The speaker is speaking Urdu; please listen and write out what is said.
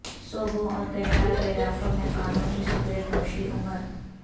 صوبوں اور کینیڈا کے علاقوں میں قانونی سگریٹ نوشی عمر